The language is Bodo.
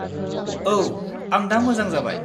औ, आं दा मोजां जाबाय।